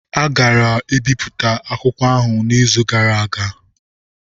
A gara-ibipụta akwụkwọ ahụ n'izu gara aga.